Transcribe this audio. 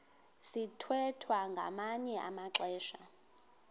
sithwethwa ngamanye amaxesha